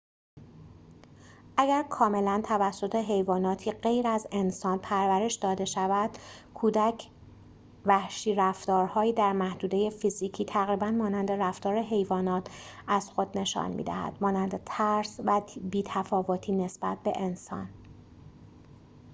اگر کاملا توسط حیواناتی غیر از انسان پرورش داده شود، کودک وحشی رفتارهایی در محدوده فیزیکی تقریباً مانند رفتار حیوانات از خود نشان می‌دهد، مانند ترس و بی تفاوتی نسبت به انسان